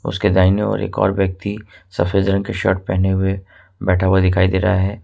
उसके दाहिने ओर एक और व्यक्ति सफेद रंग के शर्ट पहने हुए बैठा हुआ दिखाई दे रहा है।